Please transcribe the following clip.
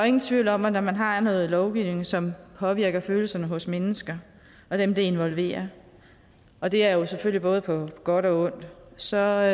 ingen tvivl om at når man har noget lovgivning som påvirker følelserne hos mennesker og dem det involverer og det er jo selvfølgelig både på godt og ondt så er